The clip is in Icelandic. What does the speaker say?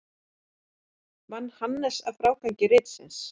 Vann Hannes að frágangi ritsins.